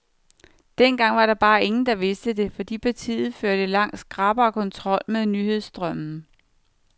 Dengang var der bare ingen, der vidste det, fordi partiet førte langt skrappere kontrol med nyhedsstrømmen.